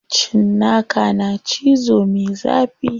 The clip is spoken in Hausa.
Cinnaka na cizo me zafi.